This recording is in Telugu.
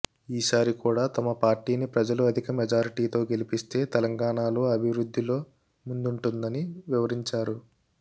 ఈసారి కూడా తమ పార్టీని ప్రజలు అధిక మెజారిటీతో గెలిపిస్తే తెలంగాణలో అభివృద్ధిలో ముందుంటుందని వివరించారు